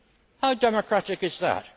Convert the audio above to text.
How democratic is that?